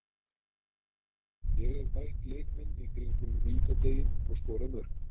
Ég hef bætt leik minn í kringum vítateiginn og skorað mörk.